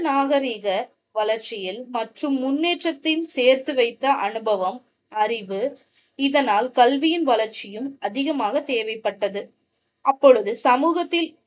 நாகரிக வளர்ச்சியில் மற்றும் முன்னேற்றத்தில் சேர்த்து வைத்த அனுபவம் அறிவு இதனால் கல்வியின் வளர்ச்சியும் அதிகமாக தேவைப்பட்டது. அப்போது சமூகத்தில்